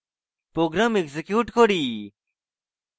program execute করি